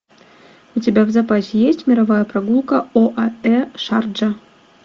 у тебя в запасе есть мировая прогулка оаэ шарджа